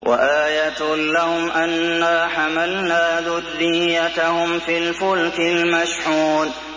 وَآيَةٌ لَّهُمْ أَنَّا حَمَلْنَا ذُرِّيَّتَهُمْ فِي الْفُلْكِ الْمَشْحُونِ